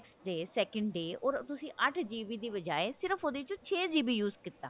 day second day ਓਰ ਤੁਸੀਂ ਅੱਠ GB ਦੀ ਬਜਾਈ ਸਿਰਫ ਉਹਦੇ ਚੋਂ ਛੇ GB use ਕੀਤਾ